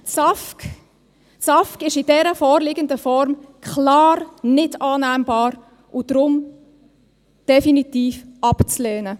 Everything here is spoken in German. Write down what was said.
Das SAFG ist in dieser vorliegenden Form klar nicht annehmbar und deswegen definitiv abzulehnen.